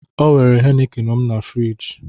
Ọ were heineken m na frịji